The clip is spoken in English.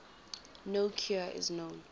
no cure is known